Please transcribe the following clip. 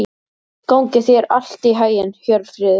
Gangi þér allt í haginn, Hjörfríður.